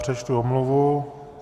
Přečtu omluvu.